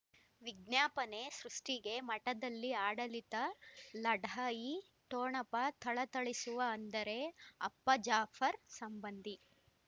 ವಿಜ್ಞಾಪನೆ ಸೃಷ್ಟಿಗೆ ಮಠದಲ್ಲಿ ಆಡಳಿತ ಲಢಾಯಿ ಠೊಣಪ ಥಳಥಳಿಸುವ ಅಂದರೆ ಅಪ್ಪ ಜಾಫರ್ ಸಂಬಂಧಿ